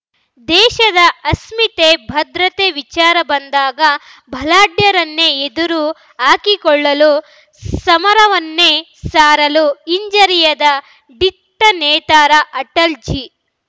ದೇಶದ ಅಸ್ಮಿತೆ ಭದ್ರತೆ ವಿಚಾರ ಬಂದಾಗ ಬಲಾಢ್ಯರನ್ನೇ ಎದುರು ಹಾಕಿಕೊಳ್ಳಲು ಸಮರವನ್ನೇ ಸಾರಲು ಹಿಂಜರಿಯದ ದಿಟ್ಟನೇತಾರ ಅಟಲ್‌ಜಿ